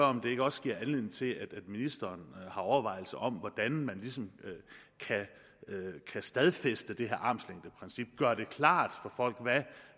om det ikke også giver anledning til at ministeren har overvejelser om hvordan man ligesom kan stadfæste det her armslængdeprincip gøre det klart for folk hvad